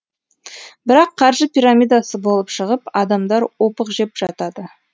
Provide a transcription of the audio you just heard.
бірақ қаржы пирамидасы болып шығып адамдар опық жеп жатады